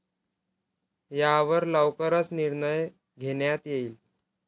यावर लवकरच निर्णय घेण्यात येईल.